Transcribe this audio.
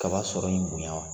Kaba sɔrɔ in bonya.